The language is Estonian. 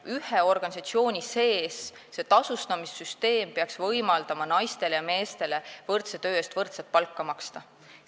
Ühe organisatsiooni sees peaks tasustamissüsteem võimaldama naistele ja meestele võrdse töö eest võrdset palka maksta.